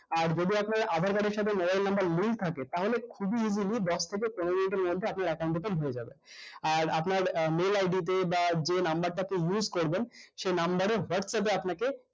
আর যদি আপনার আধাঁর card এর সাথে mobile number link থাকে তাহলে খুবই easy easy দশ থেকে পনেরো minute এর মধ্যে আপনার account open হয়ে যাবে আর আপনার আহ mail ID তে বা যে number টা তে use করবেন সেই number এর whatsapp এ আপনাকে